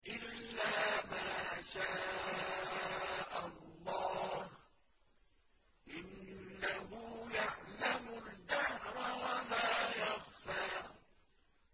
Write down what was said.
إِلَّا مَا شَاءَ اللَّهُ ۚ إِنَّهُ يَعْلَمُ الْجَهْرَ وَمَا يَخْفَىٰ